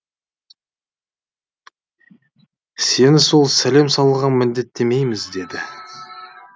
сені сол сәлем салуға міндеттемейміз деді